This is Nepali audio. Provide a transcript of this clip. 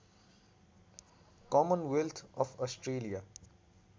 Commonwealth of Australia